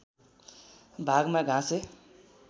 भागमा घाँसे